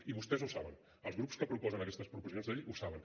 i vostès ho saben els grups que proposen aquestes proposicions de llei ho saben